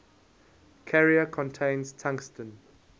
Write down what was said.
carrier contains tungsten